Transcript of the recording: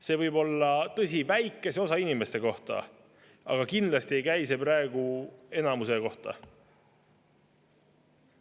See võib olla tõsi väikese osa inimeste kohta, aga kindlasti ei käi see praegu enamuse kohta.